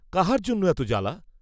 কাহার জন্য এত জ্বালা?